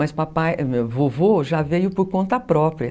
Mas papai, vovô já veio por conta própria.